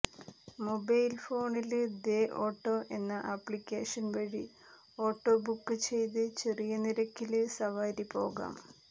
mobile ഫോണില് ദേ auto എന്ന ആപ്ലിക്കേഷൻ വഴി ഓട്ടോ ബുക്ക് ചെയ്ത് ചെറിയ നിരക്കില് സവാരി പോകാം